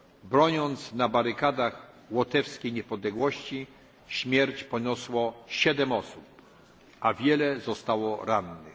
Broniąc na barykadach niepodległości Łotwy, śmierć poniosło 7 osób, a wiele zostało rannych.